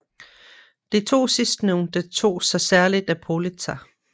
De to sidstnævnte tog sig særlig af Politzer